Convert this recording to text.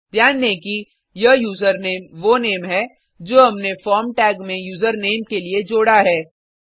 ध्यान दें कि यह यूजरनेम वो नेम है जो हमने फॉर्म टैग में यूजर नामे के लिए जोड़ा है